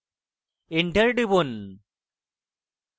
enter টিপুন